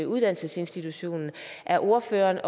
uddannelsesinstitutionerne er ordføreren